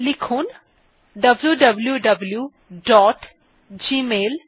লিখছি wwwgmailcom